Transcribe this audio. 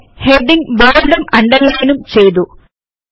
അങ്ങനെ ഹെഡിംഗ് ബോല്ടും അണ്ടർലയിനും ചെയ്തു